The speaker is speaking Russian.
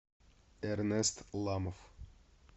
эрнест ламов